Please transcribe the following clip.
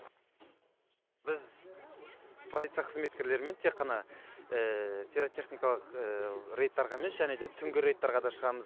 біз полиция қызметкерлерімен тек қана пиротехникалық рейдтарға емес және де түнгі рейдтарға да шығамыз